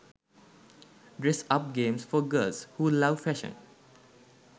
dress up games for girls who love fashion